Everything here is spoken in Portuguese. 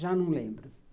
Já não lembro.